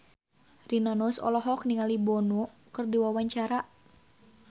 Rina Nose olohok ningali Bono keur diwawancara